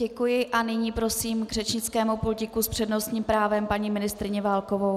Děkuji a nyní prosím k řečnickému pultíku s přednostním právem paní ministryni Válkovou.